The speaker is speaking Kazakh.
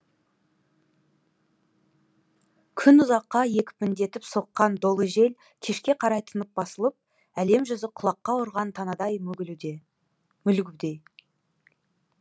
күн ұзаққа екпіндетіп соққан долы жел кешке қарай тынып басылып әлем жүзі құлаққа ұрған танадай мүлгуде